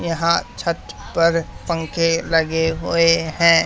यहां छत पर पंखे लगे हुए हैं।